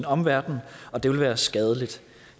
omverden og det ville være skadeligt